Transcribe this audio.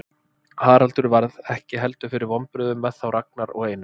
Haraldur varð ekki heldur fyrir vonbrigðum með þá Ragnar og Einar.